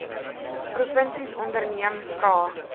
provinsies onderneem vra